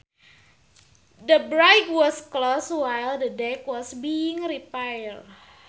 The bridge was closed while the deck was being repaired